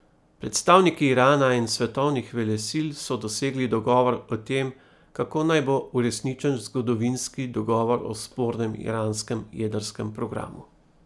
Predstavniki Irana in svetovnih velesil so dosegli dogovor o tem, kako naj bo uresničen zgodovinski dogovor o spornem iranskem jedrskem programu.